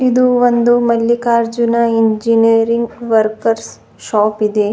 ಇದು ಒಂದು Mallikarjuna engineering workers shop ಇದೆ.